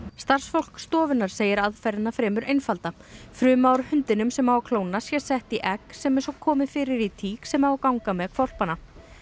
starfsfólk stofunnar segir aðferðina fremur einfalda fruma úr hundinum sem á að klóna sé sett í egg sem svo komið fyrir í tík sem á að ganga með hvolpana